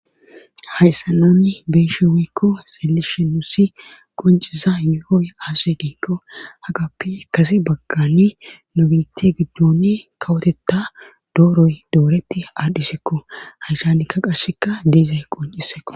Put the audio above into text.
hayssa nuni be'eshe woyikko siyishe nusi qonciza yohooy aaze gikko hagappi kasi baggani nu biti giddoni kawotetta dooroy dooreti aadhisikko hayshanikka qashsheka de'izay qonciseko